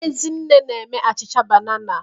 Ezinne na-eme achịcha banana.